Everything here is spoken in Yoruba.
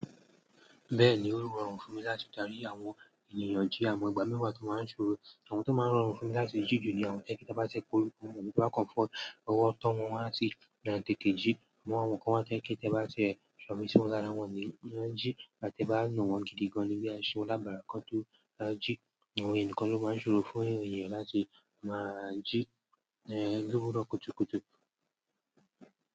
Bẹ́ẹ̀ni, ó ń rọrùn fún mi láti darí àwọn ènìyàn jí, amo ìgbà mìíràn tí o máa ń ṣòro. Àwọn tí ó máa ń rọrùn fún mi láti jí jù ni àwọn tó jé pé ta bá ti p'orúko won, toba kan f'ọwọ́ tọ́ wọn, won á ti tètè jí. Àwọn kan wá tó jé pẹ́ kí ẹ bá ṣe ṣomi síwájú láwọn ni wọ́n á jí láti bá nù wọ́n gidi gan ni bí a ṣe ó lábára kán tó á jí. Àwọn ènìyàn nìkan ló máa ń ṣòro fún ènìyàn láti máa jí, ìyen lówuro kùtùkùtù.